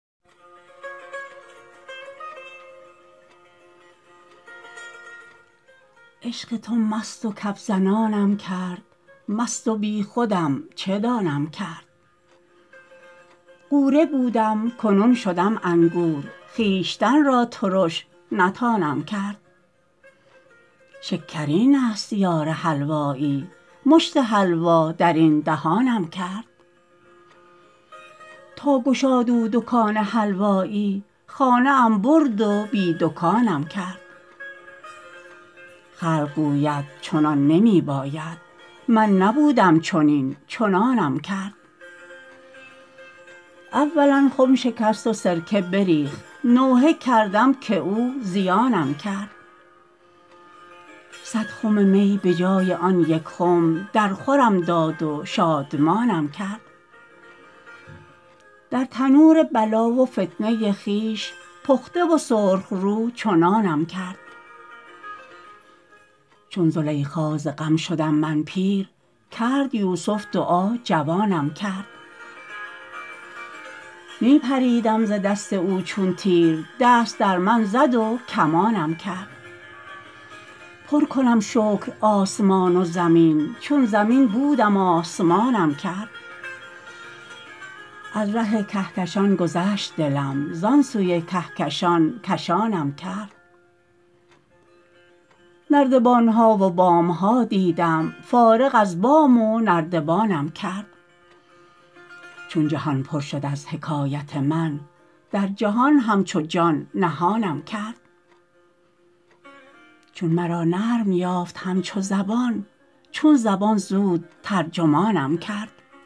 عشق تو مست و کف زنانم کرد مستم و بیخودم چه دانم کرد غوره بودم کنون شدم انگور خویشتن را ترش نتانم کرد شکرینست یار حلوایی مشت حلوا در این دهانم کرد تا گشاد او دکان حلوایی خانه ام برد و بی دکانم کرد خلق گوید چنان نمی باید من نبودم چنین چنانم کرد اولا خم شکست و سرکه بریخت نوحه کردم که او زیانم کرد صد خم می به جای آن یک خم درخورم داد و شادمانم کرد در تنور بلا و فتنه خویش پخته و سرخ رو چو نانم کرد چون زلیخا ز غم شدم من پیر کرد یوسف دعا جوانم کرد می پریدم ز دست او چون تیر دست در من زد و کمانم کرد پر کنم شکر آسمان و زمین چون زمین بودم آسمانم کرد از ره کهکشان گذشت دلم زان سوی کهکشان کشانم کرد نردبان ها و بام ها دیدم فارغ از بام و نردبانم کرد چون جهان پر شد از حکایت من در جهان همچو جان نهانم کرد چون مرا نرم یافت همچو زبان چون زبان زود ترجمانم کرد چون زبان متصل به دل بودم راز دل یک به یک بیانم کرد چون زبانم گرفت خون ریزی همچو شمشیر در میانم کرد بس کن ای دل که در بیان ناید آن چه آن یار مهربانم کرد